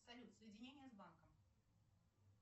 салют соединение с банком